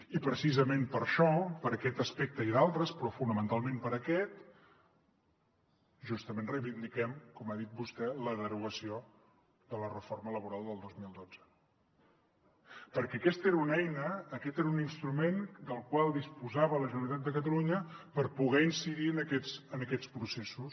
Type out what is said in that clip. i precisament per això per aquest aspecte i d’altres però fonamentalment per aquest justament reivindiquem com ha dit vostè la derogació de la reforma laboral del dos mil dotze perquè aquesta era una eina aquest era un instrument del qual disposava la generalitat de catalunya per poder incidir en aquests processos